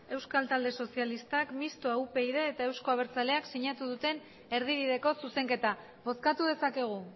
euskal talde sozialistak mistoa upyd eta euzko abertzaleak sinatu duten erdibideko zuzenketa bozkatu dezakegu